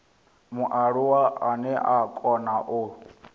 mualuwa ane a kona u